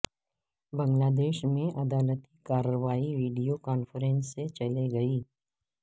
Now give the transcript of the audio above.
بنگلہ دیش میں عدالتی کارروائی ویڈیو کانفرنس سے چلے گی